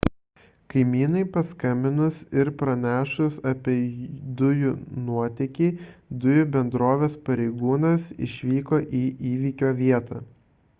kaimynui paskambinus ir pranešus apie dujų nuotėkį dujų bendrovės pareigūnas išvyko į įvyko vietą